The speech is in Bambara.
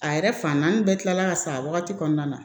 A yɛrɛ fan naani bɛɛ kilala ka sa a wagati kɔnɔna na